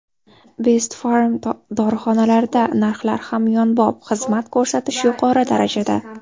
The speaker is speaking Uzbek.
Best Pharm dorixonalarida narxlar hamyonbop, xizmat ko‘rsatish yuqori darajada!